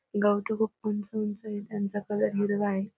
गवत खुप उंच उंच ये. त्यांचा कलर हिरवा ये.